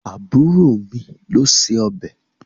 Àbúrò mi ló se ọbẹ̀.